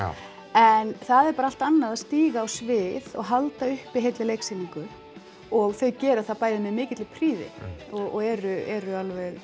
en það er bara allt annað að stíga á svið og halda uppi heilli sýningu og þau gera það bæði með mikilli prýði og eru eru